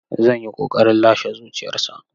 Zan yi ƙoƙarin lashe zuciyarsa.